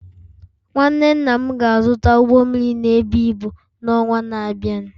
Nwanne nna m ga-azụta ụgbọ mmiri na-ebu ibu n’ọnwa na-abịa